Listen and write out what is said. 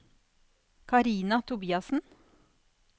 Karina Tobiassen